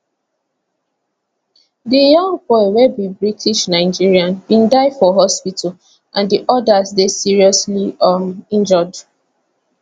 di young boy wey be britishnigerian bin die for hospital and di odas dey seriously um injured